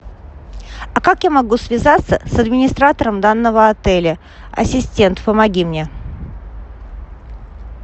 а как я могу связаться с администратором данного отеля ассистент помоги мне